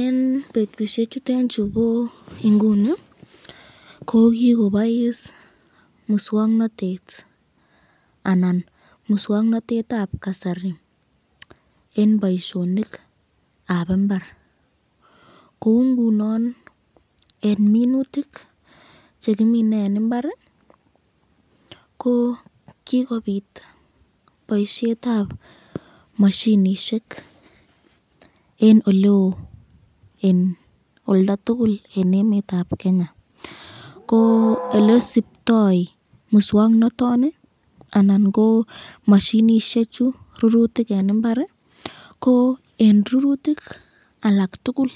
Eng betushek chutenchu bo inguni ko kikobois muswoknotet anan muswoknotetab kasari eng boiyonikab imbar , koungunon eng minutik chekimine eng imbar ko kikobit boisyetab mashinishek eng eleo eng olda tukul eng emetab Kenya, ko elesuptoi muswoknotoni anan ko mashinishek chu rurutik eng imbar, ko eng rurutik alak tukul